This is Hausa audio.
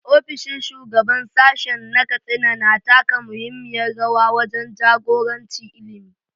Ofishin Shugaban Sashen na Katsina na taka muhimmiyar rawa wajen jagoranci ilimi.